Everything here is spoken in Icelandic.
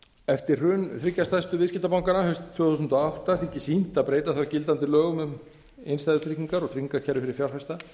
eftir hrun þriggja stærstu viðskiptabanka landsins haustið tvö þúsund og átta þykir sýnt að breyta þarf gildandi lögum um innstæðutryggingar og tryggingakerfi fyrir fjárfesta